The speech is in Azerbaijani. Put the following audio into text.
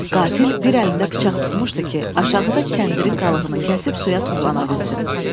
Qatil bir əlində bıçaq tutmuşdu ki, aşağıda kəndirin qalığını kəsib suya tullana bilsin.